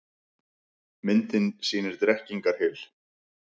Myndin sýnir Drekkingarhyl.